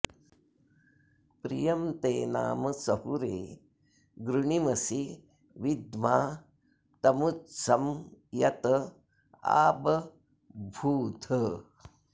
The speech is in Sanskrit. प्रियं ते नाम सहुरे गृणीमसि विद्मा तमुत्सं यत आबभूथ